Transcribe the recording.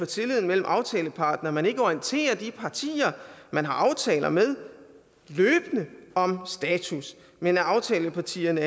tilliden mellem aftalepartnere at man ikke orienterer de partier man har aftaler med løbende om status men at aftalepartierne